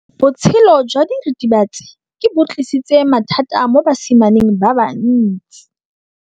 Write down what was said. Botshelo jwa diritibatsi ke bo tlisitse mathata mo basimaneng ba bantsi.